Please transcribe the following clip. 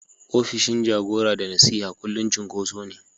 opishin jagora da nasiha kullum cunkoso ne.